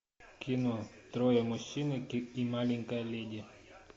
кино трое мужчин и маленькая леди